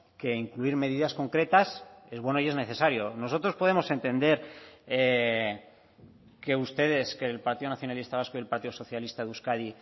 que incluir medidas concretas es bueno y es necesario nosotros podemos entender que ustedes que el partido nacionalista vasco y el partido socialista de euskadi